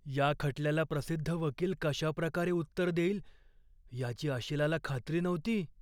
या खटल्याला प्रसिद्ध वकील कशाप्रकारे उत्तर देईल याची अशिलाला खात्री नव्हती.